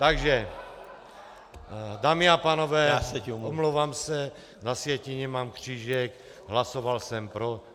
Takže dámy a pánové, omlouvám se, na sjetině mám křížek, hlasoval jsem pro.